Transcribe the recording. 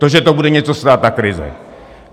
To, že to bude něco stát, ta krize.